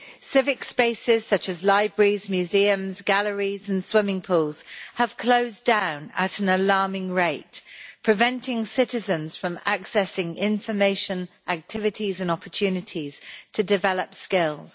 Civic spaces such as libraries, museums, galleries and swimming pools have closed down at an alarming rate, preventing citizens from accessing information, activities and opportunities to develop skills.